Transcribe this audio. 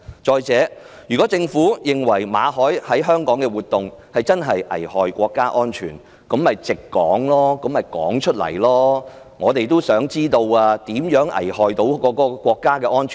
再者，如果政府認為馬凱在香港的活動真的危害國家安全，大可直說，我們也想知道他如何危害國家安全。